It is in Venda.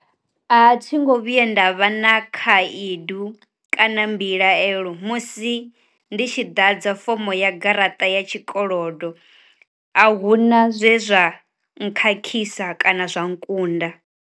A thi ngo vhuye nda vha na khaedu kana mbilaelo musi ndi tshi ḓadza fomo ya garaṱa ya tshikolodo a huna zwezwa nkhakhisa kana zwa nkunda.